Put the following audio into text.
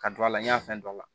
Ka don a la n y'a fɛn dɔ la